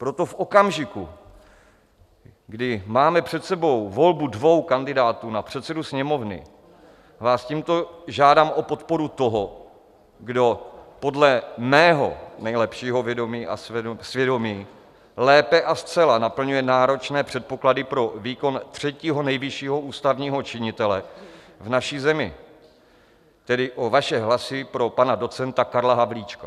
Proto v okamžiku, kdy máme před sebou volbu dvou kandidátů na předsedu Sněmovny, vás tímto žádám o podporu toho, kdo podle mého nejlepšího vědomí a svědomí lépe a zcela naplňuje náročné předpoklady pro výkon třetího nejvyššího ústavního činitele v naší zemi, tedy o vaše hlasy pro pana docenta Karla Havlíčka.